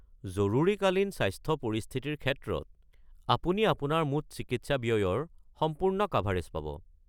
জৰুৰীকালীন স্বাস্থ্য পৰিস্থিতিৰ ক্ষেত্ৰত, আপুনি আপোনাৰ মুঠ চিকিৎসা ব্যয়ৰ সম্পূৰ্ণ কাভাৰেজ পাব।